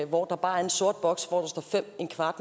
hvor der bare er en sort boks hvor der står fem